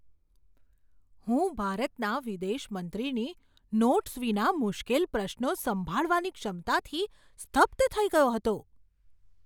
હું ભારતના વિદેશ મંત્રીની નોટ્સ વિના મુશ્કેલ પ્રશ્નો સંભાળવાની ક્ષમતાથી સ્તબ્ધ થઈ ગયો હતો!